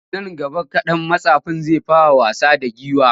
Nan gaba kaɗan mattsafin zai fara wasa da giwar.